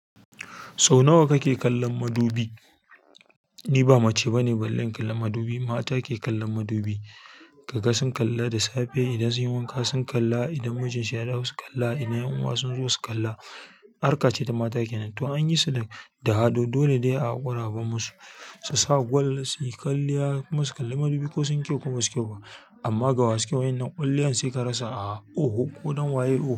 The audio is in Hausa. Sau nawa kake kallon madubi? Ni ba mace bane, balle kallon madubi. Mata ke kallon madubi. Kaga sun kalla da safe, idan sun yi wanka sun kalla, idan mijin sha yazo su kalla, idan 'yan uwa sun zo su kalla. Harka ce ta mata kenan to an yi su da ado, dole ne a haƙura a bar musu, su sa gwal, su yi kwalliya. Kuma su kalla madubi ko sun kyau ko ba su kyau ba. Amma gawaskewar wannan kwalliyan sai ka rasa a oho, ko don waye oho.